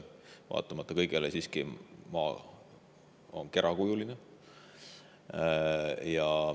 Vaatamata kõigele on Maa siiski kerakujuline.